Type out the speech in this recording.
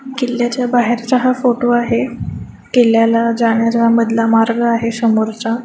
किल्ल्याच्या बाहेरचा हा फोटो आहे. किल्ल्याला जाण्याचा हा मधला मार्ग आहे समोरचा.